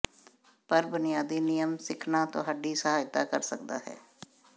ਪਰ ਬੁਨਿਆਦੀ ਨਿਯਮ ਸਿੱਖਣਾ ਤੁਹਾਡੀ ਸਹਾਇਤਾ ਕਰ ਸਕਦਾ ਹੈ